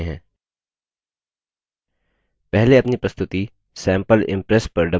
पहले अपनी प्रस्तुति sample impress पर double क्लिक करके इसे open करते हैं